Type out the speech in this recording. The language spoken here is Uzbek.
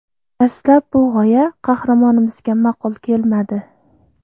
Dastlab bu g‘oya qahramonimizga ma’qul kelmadi.